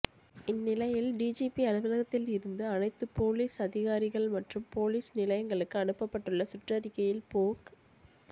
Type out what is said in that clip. இந்நிலையில் டிஜிபி அலுவலகத் தில் இருந்து அனைத்து போலீஸ் அதிகாரிகள் மற்றும் போலீஸ் நிலை யங்களுக்கு அனுப்பப்பட்டுள்ள சுற்றறிக்கையில் போக்